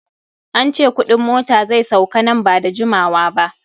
An ce kudin mota zai sauka nan ba da jimawa ba.